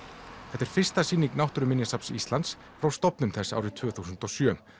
þetta er fyrsta sýning Náttúruminjasafns Íslands frá stofnun þess árið tvö þúsund og sjö